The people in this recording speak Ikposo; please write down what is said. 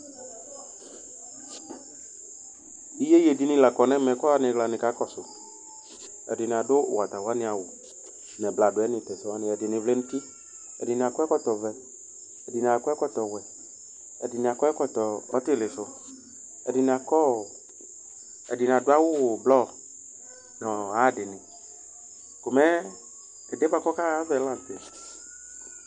Iyeye dini la kɔ nʋ ɛmɛ kʋ anɩɣla nika kɔsʋ Ɛdɩnɩ adu wata wani awʋ, ɛdɩnɩ vlɛ nʋ uti, ɛdɩnɩ akɔ ɛkɔtɔvɛ, ɛdɩnɩ akɔ ɛkɔtɔwɛ, ɛdɩnɩ ɛkɔtɔ ɔtɩlɩsʋ, ɛdɩnɩ adu awʋ ʋblɔ nʋ ayadɩnɩ